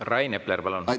Rain Epler, palun!